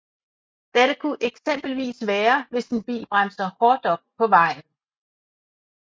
Dette kunne eksempelvis være hvis en bil bremser hårdt op på vejen